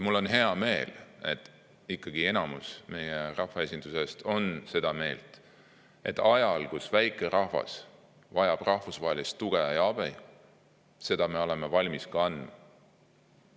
Mul on hea meel, et ikkagi enamus meie rahvaesindusest on seda meelt, et ajal, kui üks väike rahvas vajab rahvusvahelist tuge ja abi, me oleme valmis seda ka andma.